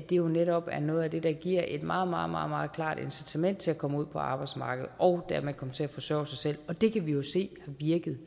det jo netop er noget af det der giver et meget meget klart incitament til at komme ud på arbejdsmarkedet og dermed komme til at forsørge sig selv og det kan vi jo se har virket